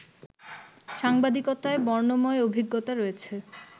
সাংবাদিকতায় বর্ণময় অভিজ্ঞতা রয়েছে